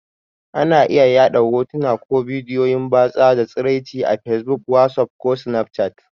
Ana iya yaɗa hotuna ko bidiyon batsa da tsiraici a fesbuk, wasuf ko snafchat.